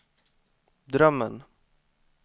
drömmen